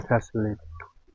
Ali təhsilli idi.